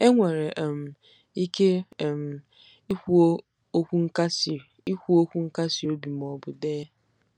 Enwere um ike um ikwu okwu nkasi ikwu okwu nkasi obi ma ọ bụ dee.